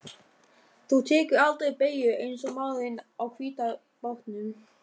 Þú tekur aldrei beygjur eins og maðurinn á hvíta bátnum.